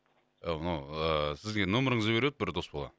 і мынау ііі сізге нөміріңізді беріп еді бір дос бала